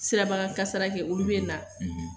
Sirabaka kasara kɛ olu bɛ na